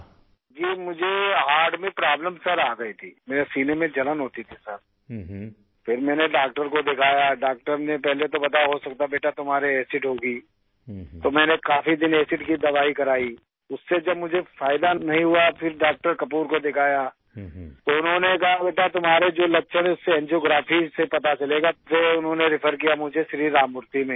راجیش پرجاپتی جی مجھے دل کا عارضہ لاھق ہوگیا تھا سر، میرے سینے میں جلن ہوتی تھی، سر، پھر میں نے ڈاکٹر کو دکھایا، ڈاکٹر نےپہلے توو بتایا کہ ہوسکتا بیٹا تمہارے ایسڈ ہوگی، تو میں نے کافی دن تک ایسڈ کی دوائی کرائی، اس سے جب مجھے فائدہ نہیں ہوا تو پھر ڈاکٹر کپور کو دکھایا، تو انہوں نے کہا کہ بیٹا تمہاری علامات ہیں اس کے بارے میں انجیوگرافی سے پتہ چلے گا، پھر اس نے ریفر کیا مجھے شری رام مورتی میں